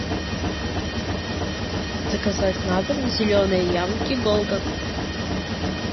заказать на дом зеленые яблоки голден